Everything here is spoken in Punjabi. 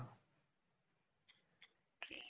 ਠੀਕ